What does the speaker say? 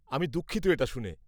আমি দুঃখিত এটা শুনে।